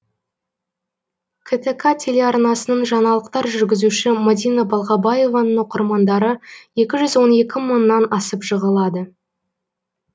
ктк телеарнасының жаңалықтар жүргізушісі мадина балғабаеваның оқырмандары екі жүз он екі мыңнан асып жығылады